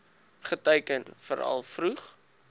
geteiken veral vroeg